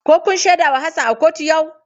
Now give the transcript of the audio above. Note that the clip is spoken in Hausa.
Ko kun shaida wa Hassan a kotu yau?